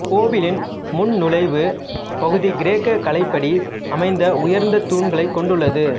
கோவிலின் முன் நுழைவுப் பகுதி கிரேக்க கலைப்படி அமைந்த உயர்ந்த தூண்களை கொண்டுள்ளது